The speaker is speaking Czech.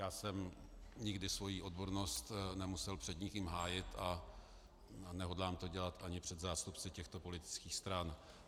Já jsem nikdy svoji odbornost nemusel před nikým hájit a nehodlám to dělat ani před zástupci těchto politických stran.